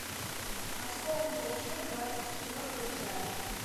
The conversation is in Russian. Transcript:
осколки души двадцать четвертая часть